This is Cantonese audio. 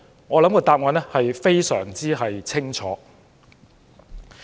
我認為答案相當清楚。